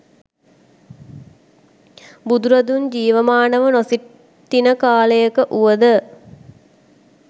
බුදුරදුන් ජීවමානව නොසිටින කාලයක වුවද